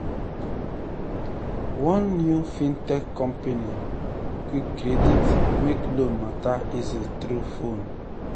one new fintech company quickcredit make loan matter easy through phone.